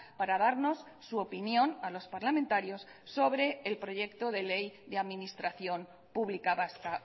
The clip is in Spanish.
para darnos su opinión a los parlamentarios sobre el proyecto de ley de administración pública vasca